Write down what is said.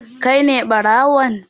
Kai ne ɓarawon?